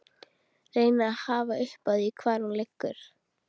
Reyni að hafa upp á því hvar hún liggur.